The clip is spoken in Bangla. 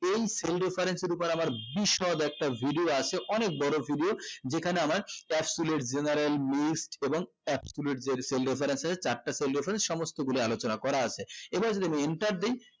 এই cell difference শুরু করা আবার বিসলোড একটা video আছে অনেক বোরো video যেখানে আমার top school এর general missed এবং accurate যেই sales reference আছে চারটা sales reference সমস্ত গুলো আলোচনা করা আছে এবার যদি বলি enter দিয়